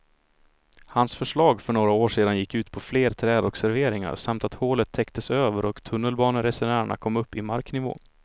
Hans förslag för några år sedan gick ut på fler träd och serveringar samt att hålet täcktes över och tunnelbaneresenärerna kom upp i marknivå.